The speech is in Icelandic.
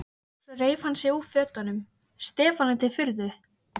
Svo reif hann sig úr fötunum, Stefáni til furðu.